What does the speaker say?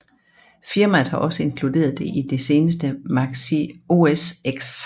Firmaet har også inkluderet det i det seneste Mac OS X